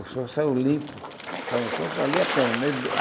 O som saiu limpo, saiu um som que valia a pena né.